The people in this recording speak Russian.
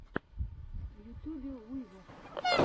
в ютьюбе уизер